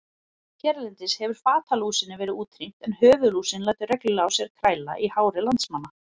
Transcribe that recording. Hérlendis hefur fatalúsinni verið útrýmt en höfuðlúsin lætur reglulega á sér kræla í hári landsmanna.